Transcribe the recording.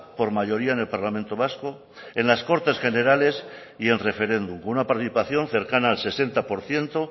por mayoría en el parlamento vasco en las cortes generales y en referéndum con una participación cercana al sesenta por ciento